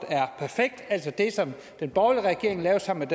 altså det som den borgerlige regering lavede sammen